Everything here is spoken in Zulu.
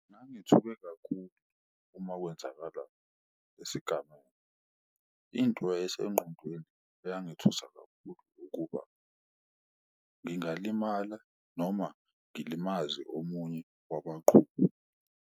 Ngangithuke kakhulu uma kwenzakala isigameko into yayisengqondweni eyangithusa kakhulu ukuba, ngingalimala noma ngilimaze omunye wabaqhubi.